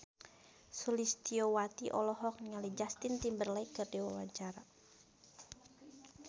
Sulistyowati olohok ningali Justin Timberlake keur diwawancara